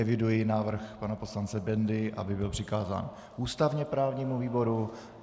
Eviduji návrh pana poslance Bendy, aby byl přikázán ústavně právnímu výboru.